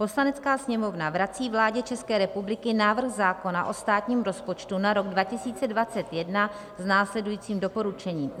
Poslanecká sněmovna vrací vládě České republiky návrh zákona o státním rozpočtu na rok 2021 s následujícím doporučením: